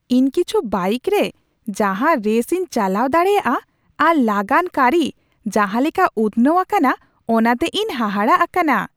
ᱤᱧ ᱠᱤᱪᱷᱩ ᱵᱟᱭᱤᱠ ᱨᱮ ᱡᱟᱦᱟᱸ ᱨᱮᱥ ᱤᱧ ᱪᱟᱞᱟᱣ ᱫᱟᱲᱮᱭᱟᱜᱼᱟ ᱟᱨ ᱞᱟᱜᱟᱱ ᱠᱟᱹᱨᱤ ᱡᱟᱦᱟᱸ ᱞᱮᱠᱟ ᱩᱛᱱᱟᱹᱣ ᱟᱠᱟᱱᱟ ᱚᱱᱟᱛᱮ ᱤᱧ ᱦᱟᱦᱟᱲᱟᱜ ᱟᱠᱟᱱᱟ ᱾